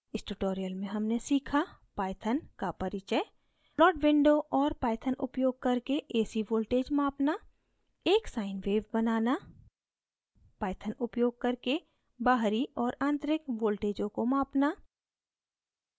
इस tutorial में हमने सीखा: